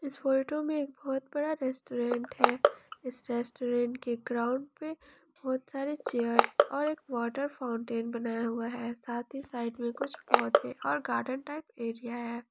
इस फोटो में एक बहुत बड़ा रेस्टोरेंट है इस रेस्टोरेंट के ग्राउंड पे बहुत सारे चेयर्स और एक वाटर फाउंटेन बनाया हुआ है साथ ही साइड में कुछ पौधे और गार्डन टाइप एरिया है।